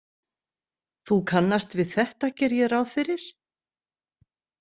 Þú kannast við þetta, geri ég ráð fyrir?